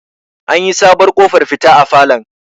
an yi sabuwar ƙofar fita a falon